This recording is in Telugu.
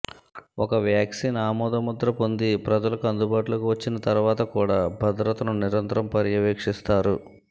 ఒక వ్యాక్సీన్ ఆమోద ముద్ర పొంది ప్రజలకు అందుబాటులోకి వచ్చిన తరువాత కూడా భద్రతను నిరంతరం పర్యవేక్షిస్తారు